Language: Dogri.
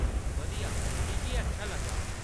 बधिया! मिगी एह् अच्छा लग्गा।